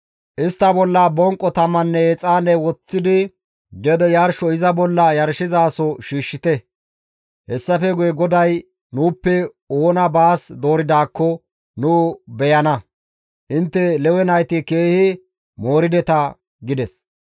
Istta bolla bonqo tamanne exaane woththidi gede yarsho iza bolla yarshizaso shiishshite; hessafe guye GODAY nuuppe oona baas dooridaakko nu beyana; intte Lewe nayti keehi moorideta!» gides.